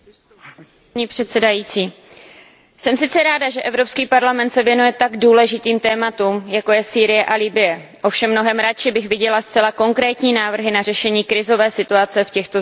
Paní předsedající, jsem sice ráda, že Evropský parlament se věnuje tak důležitým tématům, jako je Sýrie a Libye, ovšem mnohem raději bych viděla zcela konkrétní návrhy na řešení krizové situace v těchto zemích.